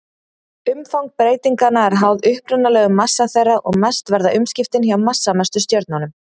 Umfang breytinganna er háð upprunalegum massa þeirra og mest verða umskiptin hjá massamestu stjörnunum.